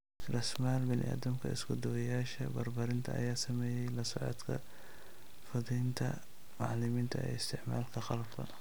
Raasamaal bini'aadamka, isku duwayaasha barbaarinta ayaa sameeyay la socodka fududaynta macalimiinta ee isticmaalka qalabka.